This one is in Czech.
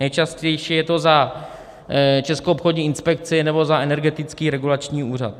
Nejčastější je to za Českou obchodní inspekci nebo za Energetický regulační úřad.